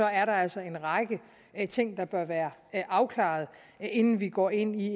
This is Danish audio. er der altså en række ting der bør være afklaret inden vi går ind i